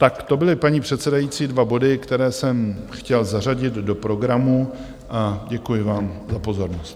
Tak to byly, paní předsedající, dva body, které jsem chtěl zařadit do programu, a děkuji vám za pozornost.